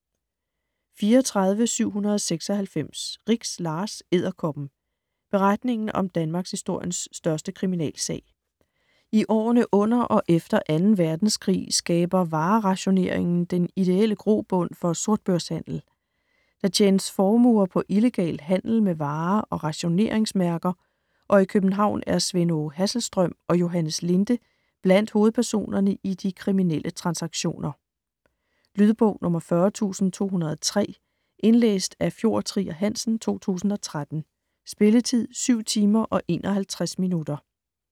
34.796 Rix, Lars: Edderkoppen: Beretningen om Danmarkshistoriens største kriminalsag I årene under og efter 2. Verdenskrig skaber varerationeringen den ideelle grobund for sortbørshandel. Der tjenes formuer på illegal handel med varer og rationeringsmærker, og i København er Svend Aage Hasselstrøm og Johannes Linde blandt hovedpersonerne i de kriminelle transaktioner. Lydbog 40203 Indlæst af Fjord Trier Hansen, 2013. Spilletid: 7 timer, 51 minutter.